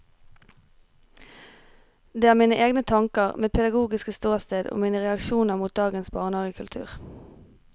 Det er mine egne tanker, mitt pedagogisk ståsted og mine reaksjoner mot dagens barnehagekultur.